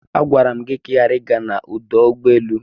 Agwara m gị ka ị ghara ịga n'ọdụ ụgbọelu!